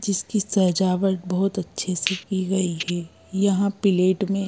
जिसकी सजावट बहुत अच्छे से की गई है यहाँ पिलेट में --